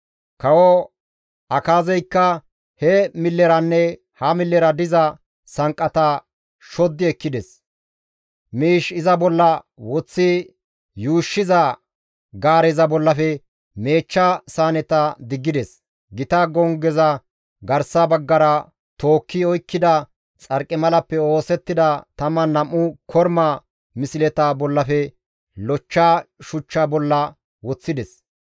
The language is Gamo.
Kawo Akaazeykka he milleranne ha millera diza sanqqata shoddi ekkides; miish iza bolla woththi yuushshiza gaareza bollafe meechcha saaneta diggides. Gita gonggeza garsa baggara tookki oykkida xarqimalappe oosettida 12 korma misleta bollafe lochcha shuchcha bolla woththides.